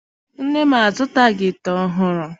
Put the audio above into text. Nne m azụtaghi ite ọhụụ.